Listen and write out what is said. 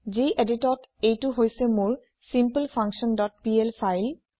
geditত এইটো হৈছে মোৰ ছিম্পলফাংকশ্যন ডট পিএল ফাইল